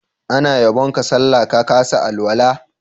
Ana yabon ka sallah, ka kasa alwala.